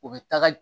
U bɛ taga